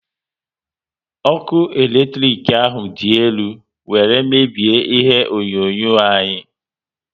Ọkụ eletrik ahụ dị elu were mebie ihe onyonyo anyi